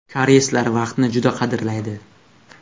Koreyslar vaqtni juda qadrlaydi.